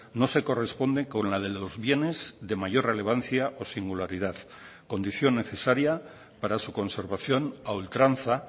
no se corresponde con la de los bienes de mayor relevancia o singularidad condición necesaria para su conservación a ultranza